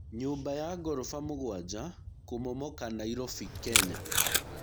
Nyũmba ya goroba mũgwanja kũmomoka Nairobi, Kenya.